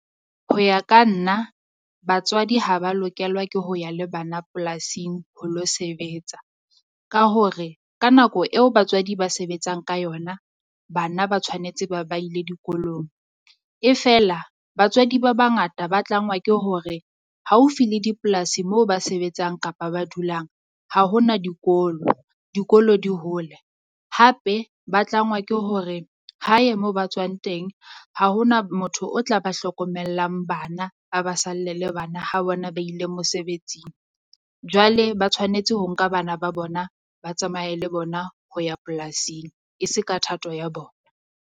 Ho ya ka nna batswadi ha ba lokelwa ke ho ya le bana polasing ho lo sebetsa. Ka hore ka nako eo batswadi ba sebetsang ka yona bana ba tshwanetse ba ba ile dikolong, e fela batswadi ba bangata ba tlangwa ke hore haufi le dipolasi moo ba sebetsang kapa ba dulang ha ho na dikolo. Dikolo di hole, hape ba tlangwa ke hore hae mo ba tswang teng ha ho na motho o tla ba hlokomellang bana, ba ba salle le bana ha bona ba ile mosebetsing. Jwale ba tshwanetse ho nka bana ba bona, ba tsamaye le bona ho ya polasing e se ka thato ya bona.